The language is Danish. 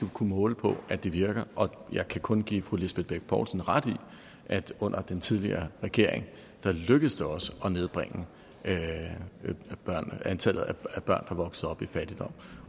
kunne måle på at det virker og jeg kan kun give fru lisbeth bech poulsen ret i at under den tidligere regering lykkedes det også at nedbringe antallet af børn der vokser op i fattigdom